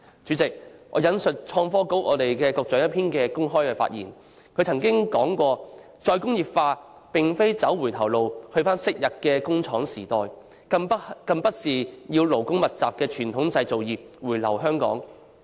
主席，我引述創新及科技局局長的一篇公開發言，他曾經指出"'再工業化'並非走回頭路到昔日的工廠時代，更不是要勞工密集的傳統製造業回流香港"。